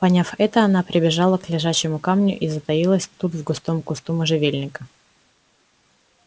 поняв это она прибежала к лежачему камню и затаилась тут в густом кусту можжевельника